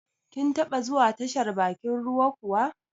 Kin taba zuwa tashar bakin ruwa kuwa?